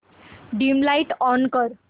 dim light on कर